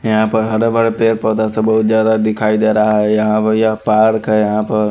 यहाँ पर हरे-भरे पेड़-पौधा सब ज्यादा दिखाई दे रहा है यहाँ बढ़िया पार्क है यहाँ पर--